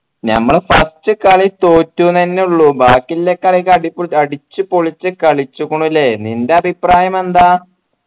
ഞമ്മൾ first കളി തോറ്റു ന്നെന്നുള്ളു ബാക്കി എല്ല കളിയു അടിപൊളി അടിച്ചുപൊളിച്ചു കളിച്ചുകുണുല്ലേ നിന്റെ അഭിപ്രായം എന്താ